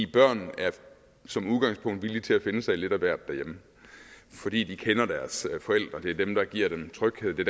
børn er som udgangspunkt villige til at finde sig i lidt af hvert derhjemme fordi de kender deres forældre det er dem der giver dem tryghed det